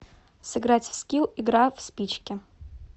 сыграть в скилл игра в спички